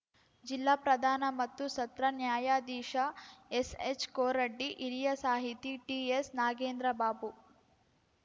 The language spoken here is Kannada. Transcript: ಜಿಲ್ಲಾ ಪ್ರಧಾನ ಮತ್ತು ಸತ್ರ ನ್ಯಾಯಾಧೀಶ ಎಸ್‌ಎಚ್‌ಕೋರಡ್ಡಿ ಹಿರಿಯ ಸಾಹಿತಿ ಟಿಎಸ್‌ನಾಗೇಂದ್ರಬಾಬು